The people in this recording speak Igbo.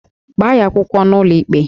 Gbaa ya akwụkwọ n'ụlọikpe!